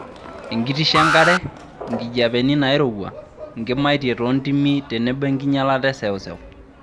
Enkitisho enkare, nkijiepeni nairowua, nkimaitie toontimi tenebo enkinyalata e seuseu.